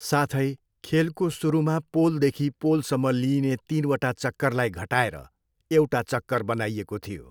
साथै, खेलको सुरुमा पोलदेखि पोलसम्म लिइने तिनवटा चक्करलाई घटाएर एउटा चक्कर बनाइएको थियो।